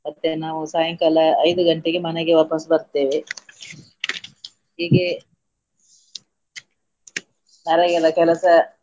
ಮತ್ತೆ ನಾವು ಸಾಯಂಕಾಲ ಐದು ಗಂಟೆಗೆ ಮನೆಗೆ ವಾಪಸ್ಸು ಬರ್ತೇವೆ. ಹೀಗೆ ನರೇಗದ ಕೆಲಸ.